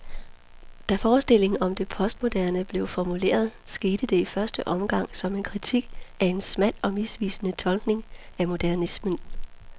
Da forestillingen om det postmoderne blev formuleret, skete det i første omgang som en kritik af en smal og misvisende tolkning af modernismen.